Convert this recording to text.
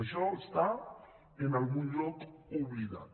això està en algun lloc oblidat